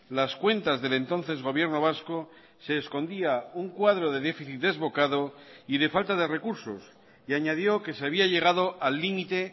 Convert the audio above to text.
las cuentas del entonces gobierno vasco se escondía un cuadro de déficit desbocado y de falta de recursos y añadió que se había llegado al límite